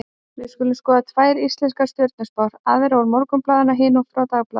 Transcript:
Við skulum skoða tvær íslenskar stjörnuspár, aðra úr Morgunblaðinu og hina frá Dagblaðinu.